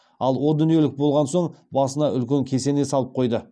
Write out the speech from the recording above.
ал о дүниелік болған соң басында үлкен кесене салып қойды